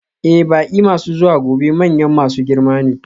Ee, baƙi masu zuwa gobe manyan masu girma ne.